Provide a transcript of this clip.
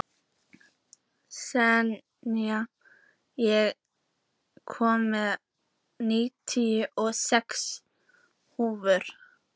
Senía, ég kom með níutíu og sex húfur!